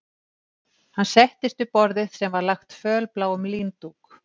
Hann settist við borðið sem var lagt fölbláum líndúk